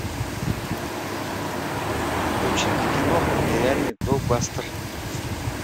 включи мне киноху нереальный блокбастер